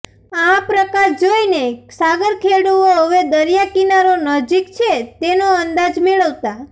આ પ્રકાશ જોઇને સાગરખેડુઓ હવે દરિયા કિનારો નજીક છે તેનો અંદાજ મેળવતા